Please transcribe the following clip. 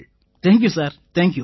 thank you sir thank you